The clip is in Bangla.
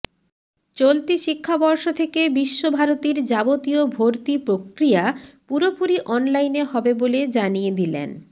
চলতি শিক্ষাবর্ষ থেকে বিশ্বভারতীর যাবতীয় ভর্তি প্রক্রিয়া পুরোপুরি অনলাইনে হবে বলে জানিয়ে দিলেন